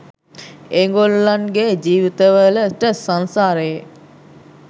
ඒගොල්ලන්ගේ ජීවිතවලට සංසාරයේ